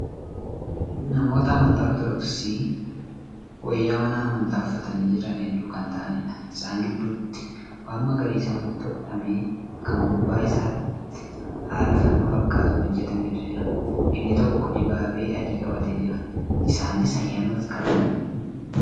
Namoota amantaa ortodoksii wayaa mana amantaa uffatanii Jiran hedduu Kan taa'aniidha. isaan gidduutti waan magariisa walitti hodhame Kan gubbaa isaatti haala fannoo fakkaatuun hojjatametu jira. inni tokko dibaabee adii qabatee Jira. isaanis ayyaana masqalaa kabajaa jiru.